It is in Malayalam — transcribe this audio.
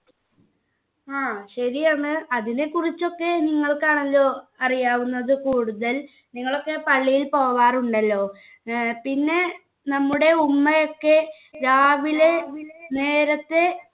ആ ശരിയാണ് അതിനെക്കുറിച്ചൊക്കെ നിങ്ങൾക്ക് ആണല്ലോ അറിയാവുന്നത് കൂടുതൽ നിങ്ങളൊക്കെ പള്ളിയിൽ പോകാറുണ്ടല്ലോ ഏർ പിന്നെ നമ്മുടെ ഉമ്മയൊക്കെ രാവിലെ നേരത്തെ